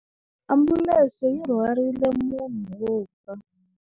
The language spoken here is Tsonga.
Ambulense yi rhwarile munhu wo fa.